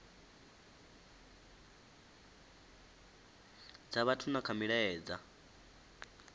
dza vhathu na kha milaedza